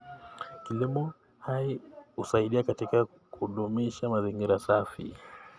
Kilimo hai husaidia katika kudumisha mazingira safi.